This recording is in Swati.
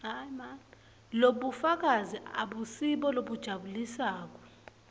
lobufakazi abusibo lobujabulisako